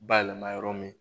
Bayɛlɛma yɔrɔ min